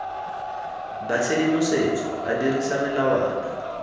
ba tshedimosetso a dirisa melawana